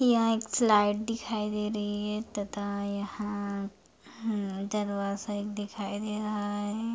तथा यहाँ एक स्लाइड दिखाई दे रही है तथा यहाँ जलवास्य दिखाई दे रहा है।